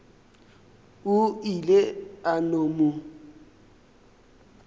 o ile a no mo